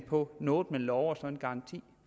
på noget man lover og så en garanti